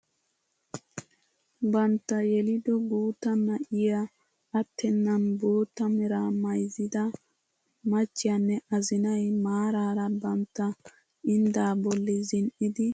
Bantta yelido guutta na'iyaa attenan bootta meraa mayzzida machiyanne azinay maarara bantta inddaa bolli zin"idi xeelliyaa asaa bolli miiccidi de'oosona.